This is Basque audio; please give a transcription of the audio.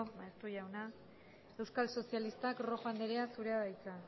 maeztu jauna euskal sozialistak rojo andrea zurea da hitza